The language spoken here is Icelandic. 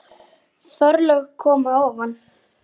Forlög koma ofan að